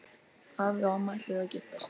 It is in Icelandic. Afi og amma ætluðu að giftast.